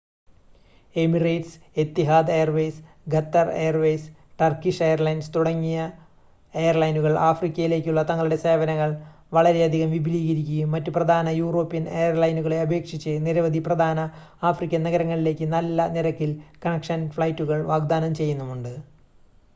Emirates Etihad Airways Qatar Airways Turkish Airlines തുടങ്ങിയ എയർലൈനുകൾ ആഫ്രിക്കയിലേക്കുള്ള തങ്ങളുടെ സേവനങ്ങൾ വളരെയധികം വിപുലീകരിക്കുകയും മറ്റ് പ്രധാന യൂറോപ്യൻ എയർലൈനുകളെ അപേക്ഷിച്ച് നിരവധി പ്രധാന ആഫ്രിക്കൻ നഗരങ്ങളിലേക്ക് നല്ല നിരക്കിൽ കണക്ഷൻ ഫ്ലൈറ്റുകൾ വാഗ്‌ദാനം ചെയ്യുന്നുമുണ്ട്